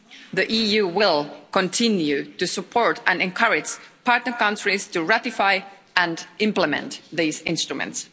The EU will continue to support and encourage partner countries to ratify and implement these instruments.